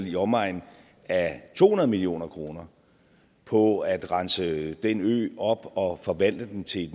i omegnen af to hundrede million kroner på at rense den ø op og forvandle den til